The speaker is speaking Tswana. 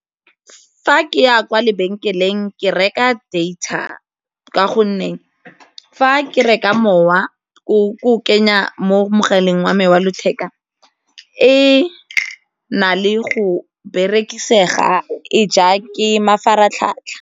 Fa ke ya kwa lebenkeleng ke reka data ka gonne fa ke reka mowa ke o kenya mo mogaleng wa me wa letheka e na le go berekisega e ja ke mafaratlhatlha.